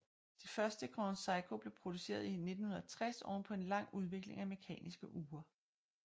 Det første Grand Seiko blev produceret i 1960 oven på en lang udvikling af mekaniske ure